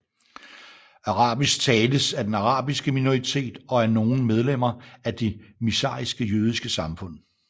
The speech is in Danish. Arabisk tales af den arabiske minoritet og af nogle medlemmer af det mizrahiske jødiske samfund